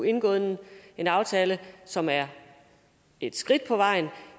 indgået en aftale som er et skridt på vejen